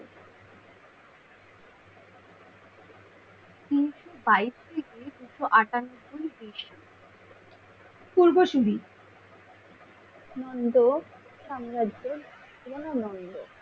তিনশ বাইশ থেকে তিনশ আটানব্বই এর বেশি পূর্বসুরি নন্দ সাম্রাজ্যের